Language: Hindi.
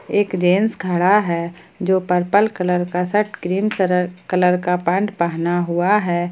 एक जेंट्स खड़ा है जो पर्पल कलर का शर्ट क्रीम क कलर का पैंट पहना हुआ है।